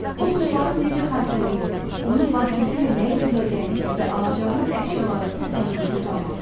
O pulları necə xərclədiyinizi, onun vasitəsilə nə edə biləcəyinizi və alacağınız əşyaları təsəvvürünüzdə canlandırın.